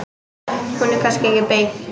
Hún er kannski ekki beint.